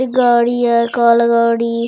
गाड़ी ह काला गाड़ी--